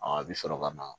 a bɛ sɔrɔ ka na